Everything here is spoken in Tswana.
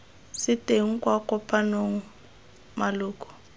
se teng kwa kopanong maloko